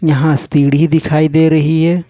यहां सीढ़ी दिखाई दे रही है।